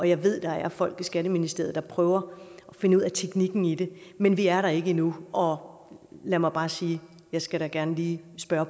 jeg ved der er folk i skatteministeriet der prøver at finde ud af teknikken i det men vi er der ikke endnu og lad mig bare sige jeg skal da gerne lige spørge